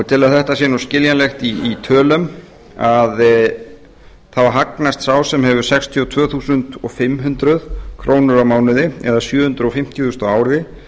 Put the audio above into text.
til að þetta sé skiljanlegt í tölum hagnast sá sem hefur sextíu og tvö þúsund fimm hundruð krónur á mánuði eða sjö hundruð fimmtíu þúsund á ári